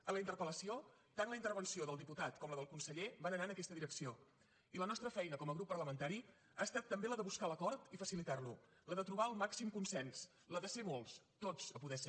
en la interpellació tant la intervenció del diputat com la del conseller van anar en aquesta direcció i la nostra feina com a grup parlamentari ha estat també la de buscar l’acord i facilitar lo la de trobar el màxim consens la de ser molts tots a poder ser